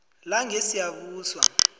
langesiyabuswa